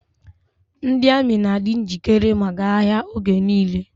Ndị amị na-adi njikere maka agha oge nile.